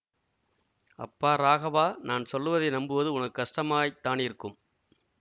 அப்பா ராகவா நான் சொல்வதை நம்புவது உனக்கு கஷ்டமாய்த்தானிருக்கும்